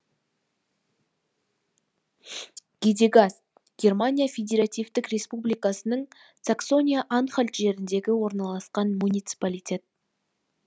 гадегаст германия федеративтік республикасының саксония анхальт жерінде орналасқан муниципалитет